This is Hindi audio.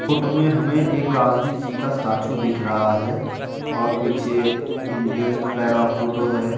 फोटो में हमे एक गांधीजी का स्टाचू दिख रहा है और पीछे इंडियन फ्लैग का फोटो है।